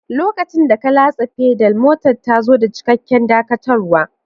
Lokacin da ka latsa Pedal, motar ta zo da cikakken dakatarwa.